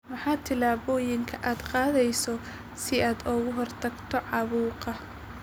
Maxaa tillaabooyinka aad qaadaysaa si aad uga hortagto caabuqa?